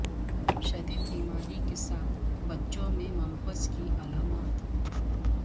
شدید بیماری کے ساتھ بچوں میں ممپس کی علامات